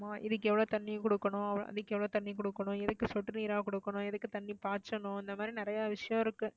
ஆமாம். இதுக்கு எவ்வளோ தண்ணி கொடுக்கணும், அதுக்கெவ்வளவு தண்ணி கொடுக்கணும், எதுக்கு சொட்டு நீரா கொடுக்கணும், எதுக்கு தண்ணி பாச்சணும், இந்த மாதிரி நிறைய விஷயம் இருக்கு.